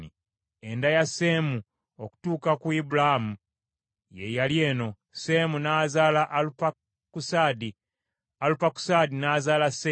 Enda ya Seemu okutuuka ku Ibulaamu ye yali eno; Seemu n’azaala Alupakusaadi, Alupakusaadi n’azaala Seera,